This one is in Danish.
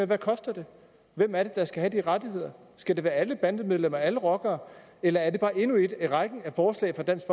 det koster hvem er det der skal have de rettigheder skal det være alle bandemedlemmer og alle rockere eller er det bare endnu et i rækken af forslag fra dansk